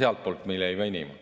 sealtpoolt ei jäänud see venima.